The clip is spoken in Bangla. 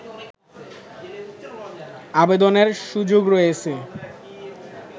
আবেদনের সুযোগ রয়েছে